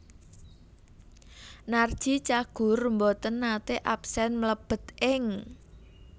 Narji Cagur mboten nate absen mlebet ing